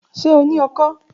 Ṣe o ni ọkọ́?